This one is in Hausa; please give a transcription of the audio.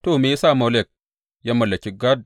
To, me ya sa Molek ya mallaki Gad?